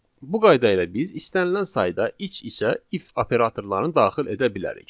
Bu qayda ilə biz istənilən sayda iç-içə if operatorlarını daxil edə bilərik.